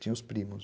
Tinha os primos.